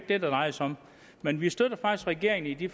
det drejer sig om men vi støtter faktisk regeringen i de